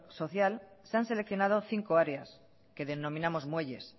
social se han seleccionado cinco áreas que denominamos muelles